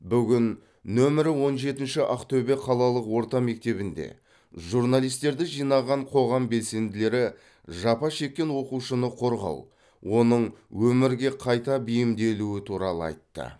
бүгін нөмірі он жетінші ақтөбе қалалық орта мектебінде журналистерді жинаған қоғам белсенділері жапа шеккен оқушыны қорғау оның өмірге қайта бейімделуі туралы айтты